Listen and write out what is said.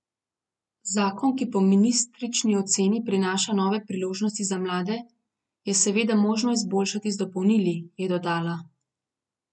Zakon, ki po ministričini oceni prinaša nove priložnosti za mlade, je seveda možno izboljšati z dopolnili, je dodala.